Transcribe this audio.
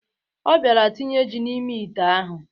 Ọ bịara tinye ji n'ime ite ahụ.